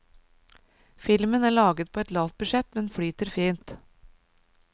Filmen er laget på et lavt budsjett, men flyter fint.